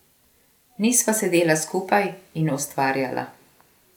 Nisva sedela skupaj in ustvarjala.